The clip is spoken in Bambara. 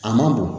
A man bɔn